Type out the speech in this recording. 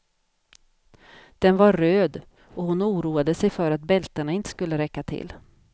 Den var röd, och hon oroade sig för att bältena inte skulle räcka till.